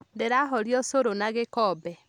Ndĩrahoria ũcũrũna gĩkombe